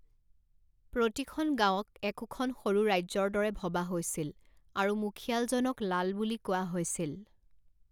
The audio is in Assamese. প্ৰতিখন গাঁৱক একোখন সৰু ৰাজ্যৰ দৰে ভবা হৈছিল, আৰু মুখিয়ালজনক লাল বুলি কোৱা হৈছিল।